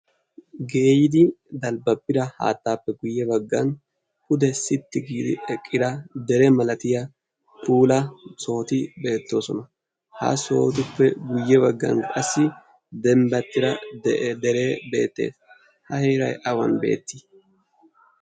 geeyidi dalbbabbira haattaappe guyye baggan pude sitti giidi eqqira dere malatiya puula sooti beettoosona ha sootuppe guyye baggan qassi dembbattira dere beettee ha hierai awan beettii?